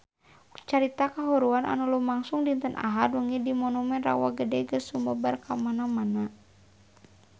Carita kahuruan anu lumangsung dinten Ahad wengi di Monumen Rawa Gede geus sumebar kamana-mana